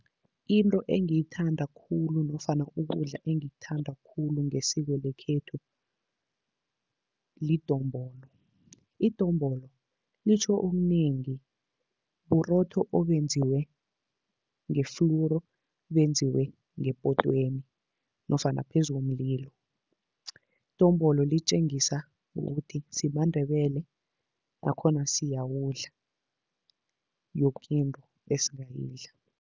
Into engiyithanda khulu nofana ukudla engikuthanda khulu ngesiko lekhethu, lidombolo. Idombolo litjho okunengi, burotho obenziwe ngeflowuru, benziwe ngepotweni nofana phezu komlilo. Idombolo litjengisa ukuthi simaNdebele nakhona siyawudla yoke into esingayidla.